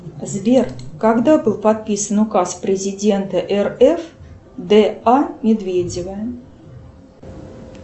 сбер когда был подписан указ президента рф д а медведева